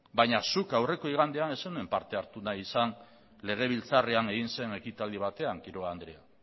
baina zuk aurreko igandean ez zenuen parte hartu nahi izan legebiltzarrean egin zen ekitaldi batean quiroga andrea